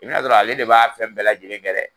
I bɛn'a sɔrɔ ale de b'a fɛn bɛɛ lajɛlen kɛ dɛ.